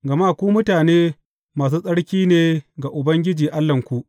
Gama ku mutane masu tsarki ne ga Ubangiji Allahnku.